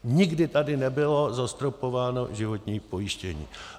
Nikdy tady nebylo zastropováno životní pojištění.